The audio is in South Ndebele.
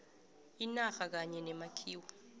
inarha kanye nemakhiwo